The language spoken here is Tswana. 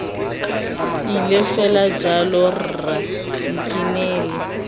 ile fela jalo rra nkinele